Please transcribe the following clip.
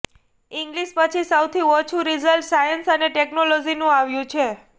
English પછી સૌથી ઓછું રિઝલ્ટ સાયન્સ અને ટેક્નોલોજીનું આવ્યું છે